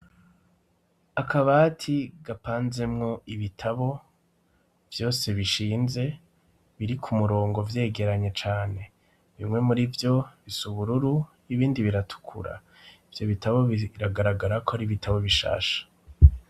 Akabati gapanzemwo ibitabo, vyose bishinze biri ku murongo vyegeranye cane. bimwe muri vyo bisa ubururu ibindi biratukura. Ivyo bitabo biragaragara ko ari ibitabo bishasha.